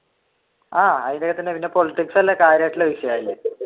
ആഹ് politics അല്ലെ കാര്യമായിട്ടുള്ള വിഷയം അതിൽ